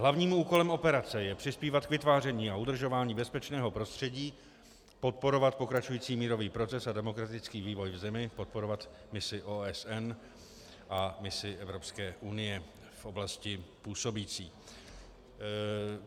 Hlavním úkolem operace je přispívat k vytváření a udržování bezpečného prostředí, podporovat pokračující mírový proces a demokratický vývoj v zemi, podporovat misi OSN a misi Evropské unie v oblasti působící.